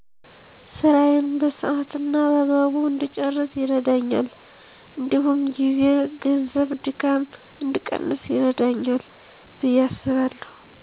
ስራየን በሰሀት እና በአግባቡ እድጨረስ ይርደኛል እዲሁም ጊዜ፣ ገንዘብ፣ ድካም እድቀንስ ይረዳኛል። ብየ አስባለሁ።